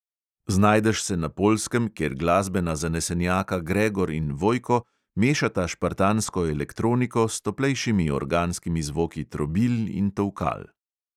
Znajdeš se na poljskem, kjer glasbena zanesenjaka gregor in vojko mešata špartansko elektroniko s toplejšimi organskimi zvoki trobil in tolkal.